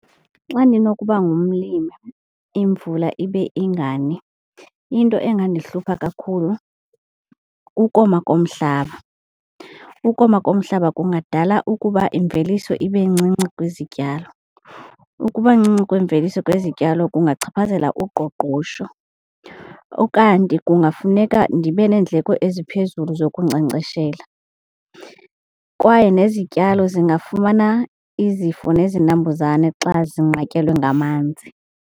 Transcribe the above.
Xa ndinokuba ngumlimi imvula ibe ingani into engandihlupha kakhulu kukoma komhlaba. Ukoma komhlaba kungadala ukuba imveliso ibe ncinci kwizityalo. Ukuba ncinci kwemveliso kwezityalo kungachaphazela uqoqosho. Ukanti kungafuneka ndibe neendleko eziphezulu zokunkcenkceshela kwaye nezityalo singafumana izifo nezinambuzane xa zinqatyelwe ngamanzi.